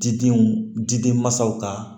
Didenw di den ma sa